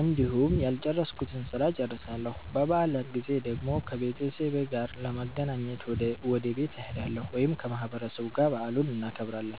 እንዲሁም ያልጨረስኩትን ስራ እጨርሳለሁ። በበዓላት ጊዜ ደግሞ ከቤተሰቤ ጋር ለመገናኘት ወደ ቤት እሄዳለሁ ወይም ከማህበረሰቡ ጋር በዓሉን እናከብራለን።